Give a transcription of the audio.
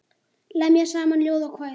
Lemja saman ljóð og kvæði.